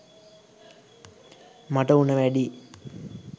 මට උණ වැඩි